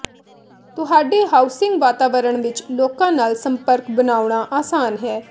ਤੁਹਾਡੇ ਹਾਊਸਿੰਗ ਵਾਤਾਵਰਣ ਵਿੱਚ ਲੋਕਾਂ ਨਾਲ ਸੰਪਰਕ ਬਣਾਉਣਾ ਅਸਾਨ ਹੈ